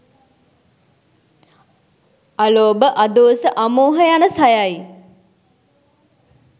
අලෝභ, අදෝස, අමෝහ යන සයයි.